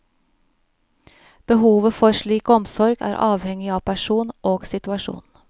Behovet for slik omsorg er avhengig av person og situasjon.